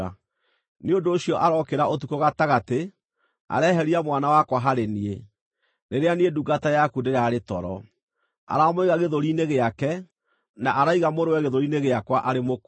Nĩ ũndũ ũcio arookĩra ũtukũ gatagatĩ, areheria mwana wakwa harĩ niĩ, rĩrĩa niĩ ndungata yaku ndĩrarĩ toro. Aramũiga gĩthũri-inĩ gĩake, na araiga mũrũwe gĩthũri-inĩ gĩakwa arĩ mũkuũ.